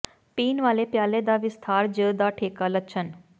ਪੀਣ ਵਾਲੇ ਪਿਆਲੇ ਦਾ ਵਿਸਥਾਰ ਜ ਦਾ ਠੇਕਾ ਲੱਛਣ